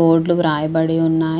Board రాయే బడి ఉన్నాయి.